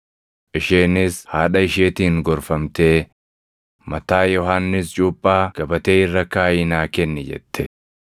Isheenis haadha isheetiin gorfamtee, “Mataa Yohannis Cuuphaa gabatee irra kaaʼii naa kenni” jette.